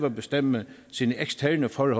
at bestemme sine eksterne forhold